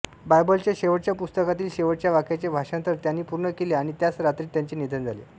बायबलच्या शेवटच्या पुस्तकातील शेवटच्या वाक्याचे भाषांतर त्यांनी पूर्ण केले आणि त्याच रात्री त्याचे निधन झाले